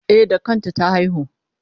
E, da kanta ta haihu.